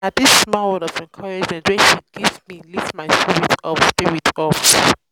na di small word of encouragement wey um she give me lift my um spirit up. spirit up.